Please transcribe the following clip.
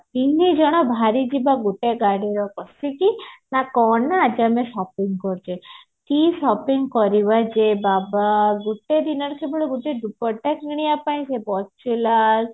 ତିନିଜଣ ବାହାରି ଯିବା ଗୋଟେ ଗାଡିରେ ବସିକି ନା କଣ ନା ଆଜି ଆମେ shopping କରୁଚେ କି shopping କରିବା ଯେ ବାବା ଗୋଟେ ଦିନରେ କେବଳ ଗୋଟେ ଡୁପଟ୍ଟା କିଣିବା ପାଇଁ ସେ ବକ୍ସିଲାଲ